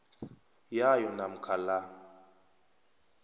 yayo namkha la